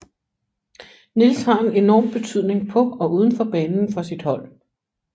Niels har en enorm betydning på og uden for banen for sit hold